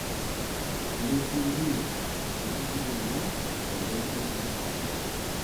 ilepie ninye osiligi lenye tentoki naasita